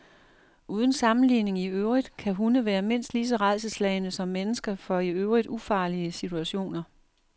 Uden sammenligning i øvrigt kan hunde være mindst lige så rædselsslagne som mennesker for i øvrigt ufarlige situationer.